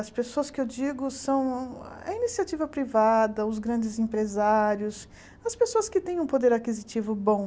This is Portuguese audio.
As pessoas que eu digo são a iniciativa privada, os grandes empresários, as pessoas que têm um poder aquisitivo bom.